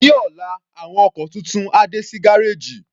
Ní ọ̀la, àwọn ọkọ̀ tuntun á dé sí gárèjì.